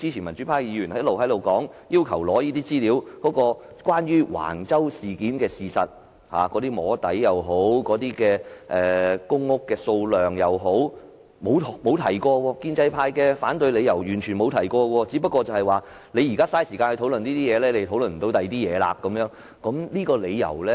民主派議員要求索取關於橫洲事件的資料，無論是"摸底"或公屋數量的資料，建制派完全沒有提及反對理由，只說我們現在花時間討論這問題，便不能討論其他問題。